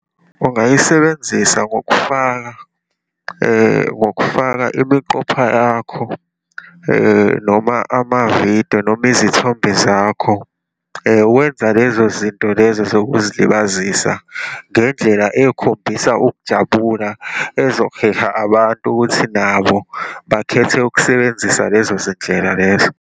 Ungayisebenzisa ngokufaka, ngokufaka imiqopha yakho, noma amavidiyo, noma izithombe zakho, wenza lezo zinto lezo zokuzilibazisa ngendlela ekhombisa ukujabula, ezoheha abantu ukuthi nabo bakhethe ukusebenzisa lezo zindlela lezo.